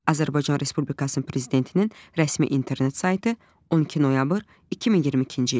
Azərbaycan Respublikasının Prezidentinin rəsmi internet saytı, 12 noyabr 2022-ci il.